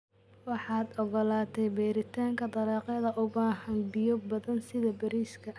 Waxaad ogolaatay beeritaanka dalagyada u baahan biyo badan sida bariiska.